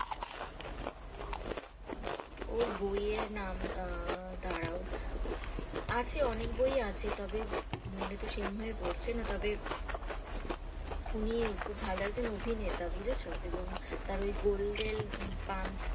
ওর বই এর নাম আ দাড়াও আছে অনেক বই ই আছে তবে মনে তো সেই ভাবে পড়ছে না তবে উনি খুব ভালো একজন অভিনেতা বুঝেছো । এবং তার golden pumps.